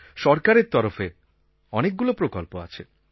সরকারের তরফে অনেকগুলো প্রকল্প চলছে